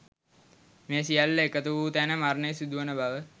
මේ සියල්ල එකතු වූ තැන මරණය සිදුවන බව